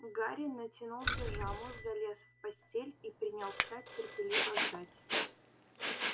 гарри натянул пижаму залез в постель и принялся терпеливо ждать